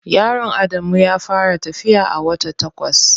Yaron Adamu ya fara tafiya a wata takwas.